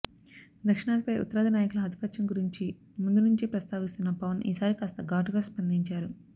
దక్షిణాదిపై ఉత్తరాది నాయకుల ఆధిపత్యం గురించి ముందునుంచే ప్రస్తావిస్తున్న పవన్ ఈసారి కాస్త ఘాటుగా స్పందించారు